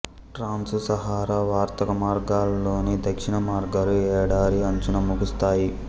trans Sahara వర్తక మార్గాలలోని దక్షిణ మార్గాలు ఎడారి అంచున ముగుస్తాయి